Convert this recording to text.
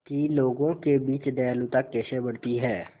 कि लोगों के बीच दयालुता कैसे बढ़ती है